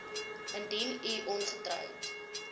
indien u ongetroud